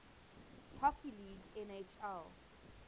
hockey league nhl